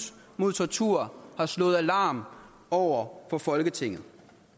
mod tortur har slået alarm over for folketinget